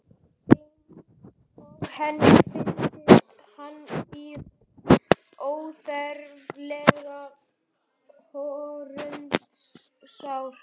Eins og henni fyndist hann í raun óþarflega hörundsár.